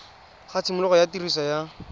ga tshimologo ya tiriso ya